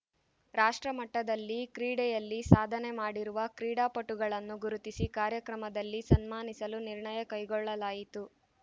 ರಾಷ್ಟ್ರ ಮಟ್ಟದಲ್ಲಿ ಕ್ರೀಡೆಯಲ್ಲಿ ಸಾಧನೆ ಮಾಡಿರುವ ಕ್ರೀಡಾಪಟುಗಳನ್ನು ಗುರುತಿಸಿ ಕಾರ್ಯಕ್ರಮದಲ್ಲಿ ಸನ್ಮಾನಿಸಲು ನಿರ್ಣಯ ಕೈಗೊಳ್ಳಲಾಯಿತು